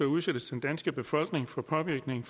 udsættes den danske befolkning for påvirkning